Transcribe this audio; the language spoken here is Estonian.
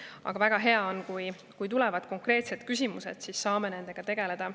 Aga väga hea on, kui tulevad konkreetsed küsimused, siis saame nendega tegeleda.